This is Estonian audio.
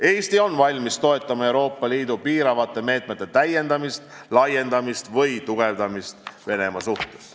Eesti on valmis toetama Euroopa Liidu piiravate meetmete täiendamist, laiendamist või tugevdamist Venemaa suhtes.